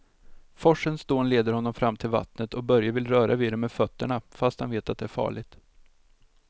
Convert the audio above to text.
Forsens dån leder honom fram till vattnet och Börje vill röra vid det med fötterna, fast han vet att det är farligt.